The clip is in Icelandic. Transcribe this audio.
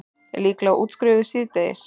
Líklega útskrifuð síðdegis